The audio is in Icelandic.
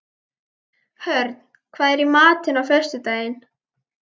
Hörn, hvað er í matinn á föstudaginn?